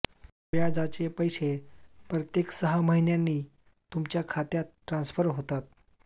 व्याजाचे पैसे प्रत्येक सहा महिन्यांनी तुमच्या खात्यात ट्रान्सफर होतात